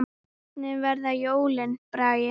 Hvernig verða jólin, Bragi?